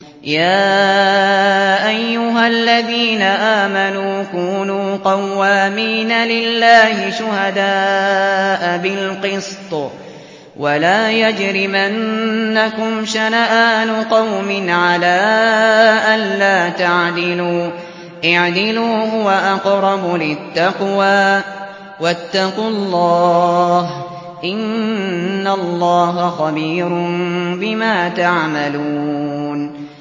يَا أَيُّهَا الَّذِينَ آمَنُوا كُونُوا قَوَّامِينَ لِلَّهِ شُهَدَاءَ بِالْقِسْطِ ۖ وَلَا يَجْرِمَنَّكُمْ شَنَآنُ قَوْمٍ عَلَىٰ أَلَّا تَعْدِلُوا ۚ اعْدِلُوا هُوَ أَقْرَبُ لِلتَّقْوَىٰ ۖ وَاتَّقُوا اللَّهَ ۚ إِنَّ اللَّهَ خَبِيرٌ بِمَا تَعْمَلُونَ